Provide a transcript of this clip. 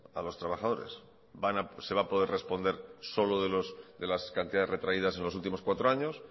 a los trabajadores se va a poder responder solo de las cantidades retraídas en los últimos cuatro años